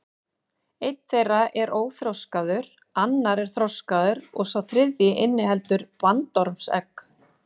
Einn þeirra er óþroskaður, annar er þroskaður og sá þriðji inniheldur bandormsegg.